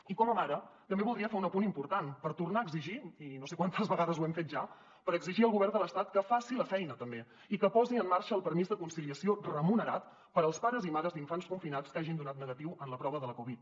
i com a mare també voldria fer un apunt important per tornar a exigir i no sé quantes vegades ho hem fet ja al govern de l’estat que faci la feina també i que posi en marxa el permís de conciliació remunerat per als pares i mares d’infants confinats que hagin donat negatiu en la prova de la covid